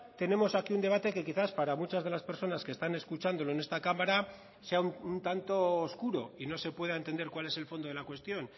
tenemos aquí un debate que quizás para muchas de las personas que están escuchándolo en esta cámara sea un tanto oscuro y no se pueda entender cuál es el fondo de la cuestión